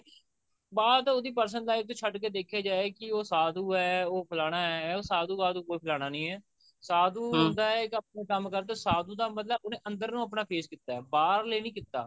ਬਾਅਦ ਉਹਦੀ personal life ਛੱਡ ਕੇ ਦੇਖਿਆ ਜਾਏ ਕਿ ਉਹ ਸਾਧੂ ਐ ਉਹ ਫਲਾਨਾ ਹੈ ਉਹ ਸਾਧੂ ਵਾਧੂ ਕੋਈ ਫਲਾਨਾ ਨਹੀਂ ਹੈ ਸਾਧੂ ਹੁੰਦਾ ਇੱਕ ਆਪਣਾ ਕੰਮ ਕਰਦਾ ਸਾਧੂ ਦਾ ਮਤਲਬ ਉਹਨੇ ਅੰਦਰ ਨੂੰ ਆਪਣਾ face ਕੀਤਾ ਬਾਹਰ ਲਈ ਨਹੀਂ ਕੀਤਾ